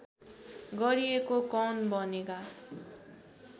गरिएको कौन बनेगा